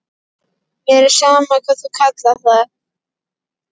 Mér er sama hvað þú kallar það.